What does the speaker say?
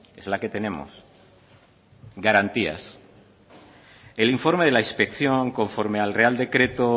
es la que tenemos garantías el informe de la inspección conforme al real decreto